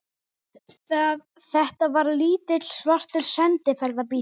Þetta var lítill, svartur sendiferðabíll.